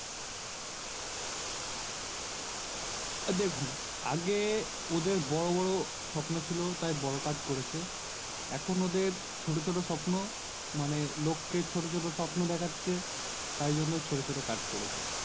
এ দেখুন আগে ওদের বড়ো বড়ো স্বপ্ন ছিল তাই বড়ো Card করেছে এখন ওদের ছোট ছোট স্বপ্ন মানে লোককে ছোট ছোট স্বপ্ন দেখাচ্ছে তার জন্য ছোট ছোট Card করেছে